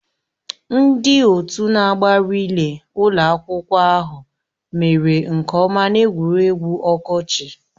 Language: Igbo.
Ndị otu na-agba rịlẹ́ ụlọ akwụkwọ ahụ mere nke ọma n'egwuregwu ọkọchị